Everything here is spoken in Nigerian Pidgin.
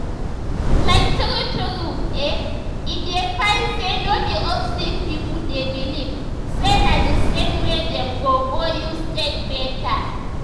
like true true eh e dey fine say no be all sick pipo dey believe say na d same way dem go go use take better.